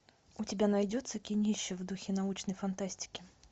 у тебя найдется кинище в духе научной фантастики